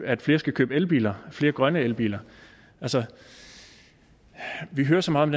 at flere skal købe elbiler flere grønne elbiler altså vi hører så meget